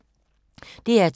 DR2